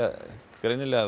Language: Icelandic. greinilega að